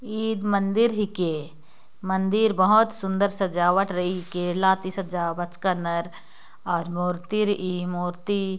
ईर मंदिर हे के मंदिर बहोत सुन्दर सजावट रहिर के लाती सजावच कन्नर और मुर्ति री ई मूर्ति--